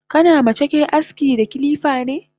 Kana ma cake aski da kilifane?